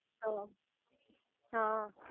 તો હ